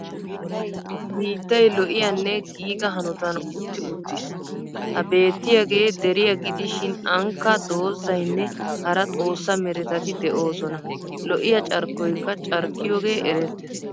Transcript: Biittay lo'iyaanne giiga hanotan uttis uttis. Ha beetiyyagee deriya gidishin anikka doozzayiinne hara xoosa meretataî de'oosona lo'iyaa carkkoykka carkkiyooge erettes.